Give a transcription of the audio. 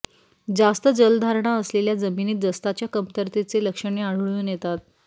जास्त जलधारणा असलेल्या जमिनीत जस्ताच्या कमतरतेचे लक्षणे आढळून येतात